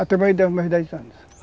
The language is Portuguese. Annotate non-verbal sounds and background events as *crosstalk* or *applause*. *unintelligible* dez anos